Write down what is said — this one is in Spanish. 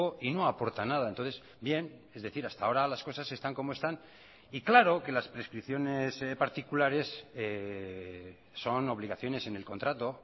y no aporta nada entonces bien es decir hasta ahora las cosas están como están y claro que las prescripciones particulares son obligaciones en el contrato